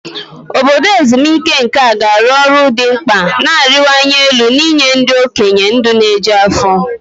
Obodo ezumike nká ga-arụ ọrụ dị mkpa na-arịwanye elu n'inye ndị okenye ndụ na-eju afọ.